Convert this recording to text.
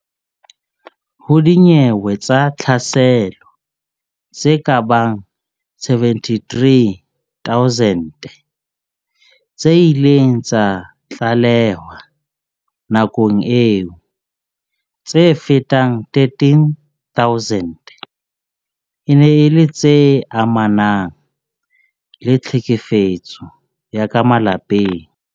Ho dinyewe tsa tlhaselo tse kabang 73 000 tse ileng tsa tlalehwa nakong eo, tse fetang 13000 e ne e le tse amanang le tlhekefetso ya ka malapeng.